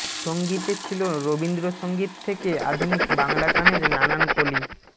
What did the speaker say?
সংগতে ছিল রবীন্দ্র সংগীত থেকে আধুনিক বাংলা গানের নানান কলি